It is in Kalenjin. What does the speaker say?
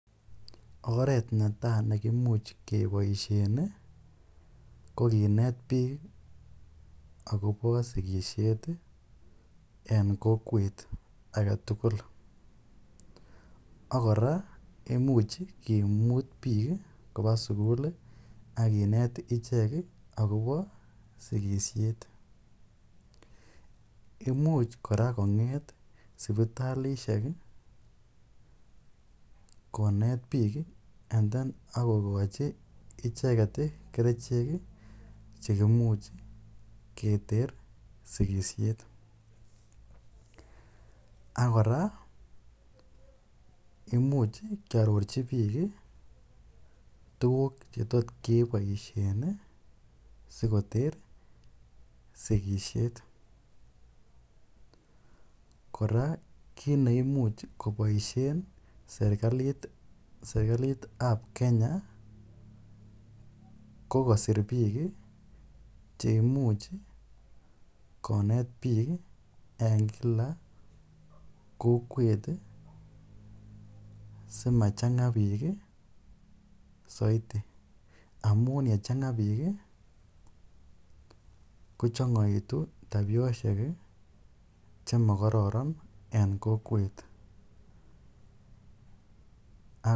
Oret ne tai neimuuch kebaisheen ii ko kineet biik agobo sikisheet en kokwet age tugul ak kora imuuch kimuut biik kobaa sugul akinet icheek ii agobo sikisheet imuuch kora kongeet sipitalishek ii kongeet biik ii ako kochii ichegeet kercheek chekaimuuch keter sikisheet ak kora imuuch kiarorjii biik ii tuguuk che tot kebaisheen sikoter sikisiet kora kit neimuuch kobaisheen serikaliit serikaliit ab Kenya ko kosiir biik cheimuuch ii koneet biik en kila kokwet ii simachanga biik ii zaidi amuun ye changaa biik ii ko changaituun tabisheek che maa kororon en kokwet ak.